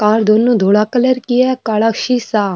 car दोनू धोला colour की है काला शीशा --